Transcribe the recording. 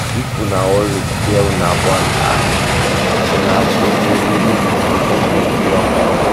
if una wan repair una bond um una um una go dey um ready to forget tins wey don pass